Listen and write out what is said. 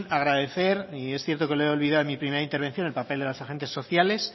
agradecer y es cierto que lo he olvidado en mi primera intervención el papel de los agentes sociales